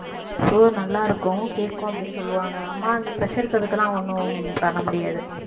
so நல்லா இருக்கும் கேக்கும் அப்படீன்னு சொல்லுவாங்க அம்மா அந்த pressure க்கு அதுக்கெல்லாம் ஒண்ணும் பண்ண முடியாது